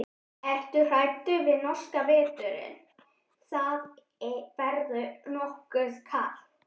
Ertu hræddur við norska veturinn, það verður nokkuð kalt?